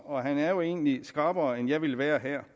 og han er jo egentlig skrappere end jeg ville være her